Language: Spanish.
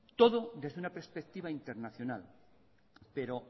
todo desde una perspectiva internacional pero